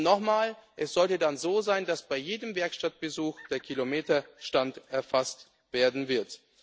soll. Nochmal Es sollte dann so sein, dass bei jedem Werkstattbesuch der Kilometerstand erfasst